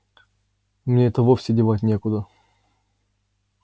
мне это вовсе девать некуда